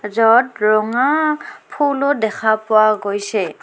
য'ত ৰঙা ফুলো দেখা পোৱা গৈছে.